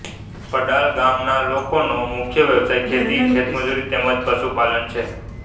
પડાલ ગામના લોકોનો મુખ્ય વ્યવસાય ખેતી ખેતમજૂરી તેમ જ પશુપાલન છે